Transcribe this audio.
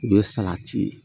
O ye salati ye